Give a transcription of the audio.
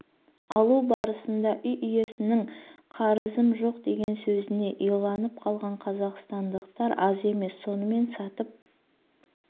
алу барысында үй иесінің қарызым жоқ деген сөзіне иланып қалған қазақстандықтар аз емес сонымен сатып